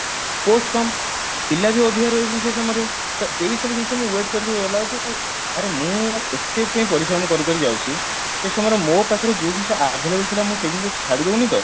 post କମ ପିଲା ବି ଅଧିକ ରହିଯାଉଛନ୍ତି ସେଇ ସମୟରେ ତ ଏଇ ସବୁ ଜିନିଷ ମୁଁ wait କରିକି ଗଲାବେଳକୁ ଆରେ ମୁଁ ଏତେ ଯାଏଁ ପରିଶ୍ରମ କରିକରି ଯାଉଛି ସେଇ ସମୟରେ ମୋ ପାଖରେ ଯଉ ଜିନିଷ available ଥିଲା ମୁଁ ସେଇ ଜିନିଷ ଛାଡିଦଉନି ତ